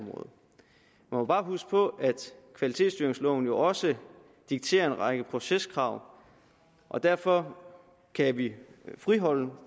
må bare huske på at kvalitetsstyringsloven jo også dikterer en række proceskrav og derfor kan vi friholde